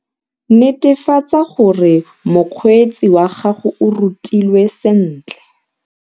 Netefatsa gore mokgweetsi wa gago o rutilwe sentle.